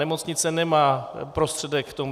Nemocnice nemá prostředek k tomu.